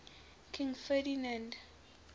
king ferdinand